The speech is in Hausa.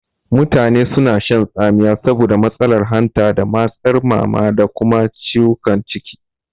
Mutane suna shan tsamiya saboda matsalar hanta da matsarmama da kuma ciwukan ciki.